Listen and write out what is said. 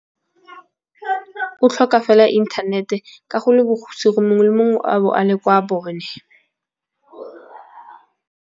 O tlhoka fela inthanete ka go le bokhutso go mongwe le mongwe a bo a le kwa bone.